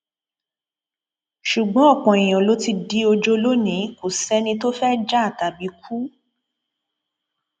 ṣùgbọn ọpọ èèyàn ló ti di ọjọ lónìí kò sẹni tó fẹẹ jà tàbí kú